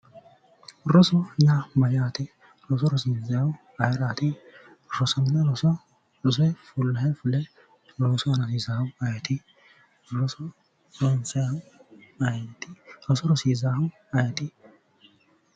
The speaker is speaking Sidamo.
Roso yaa mayaate roso rosiinsaayihu ayiraatti rosino roso fullahe fule loossu aana hosiissannohi ayitti roso rosiisaahu ayiti